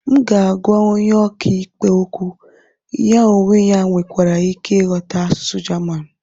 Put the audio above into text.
m ga-agwa onye ọka ikpe okwu, ya onwe ya nwekwara ike ịghọta asụsụ jaman